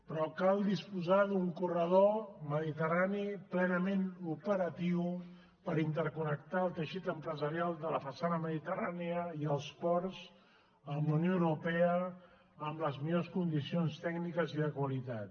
però cal disposar d’un corredor mediterrani plenament operatiu per interconnectar el teixit empresarial de la façana mediterrània i els ports amb la unió europea en les millors condicions tècniques i de qualitat